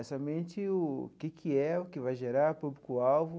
É somente o que que é, o que vai gerar público-alvo.